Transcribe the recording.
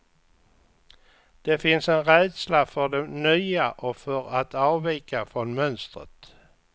Det finns en rädsla för det nya och för att avvika från mönstret.